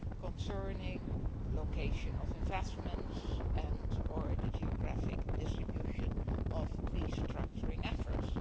concerning location of investments or the geographic distribution of restructuring efforts.